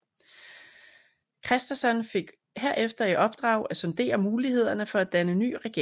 Kristersson fik herefter i opdrag at sondere mulighederne for at danne ny regering